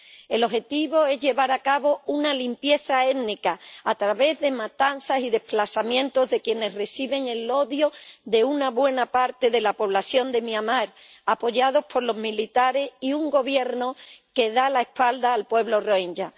El objetivo es llevar a cabo una limpieza étnica a través de matanzas y desplazamientos de quienes reciben el odio de una buena parte de la población de Myanmar, apoyados por los militares y un gobierno que da la espalda al pueblo rohinyá.